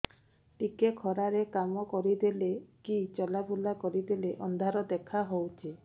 ଟିକେ ଖରା ରେ କାମ କରିଦେଲେ କି ଚଲବୁଲା କରିଦେଲେ ଅନ୍ଧାର ଦେଖା ହଉଚି